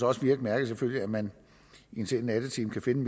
også virke mærkeligt at man i en sen nattetime kan finde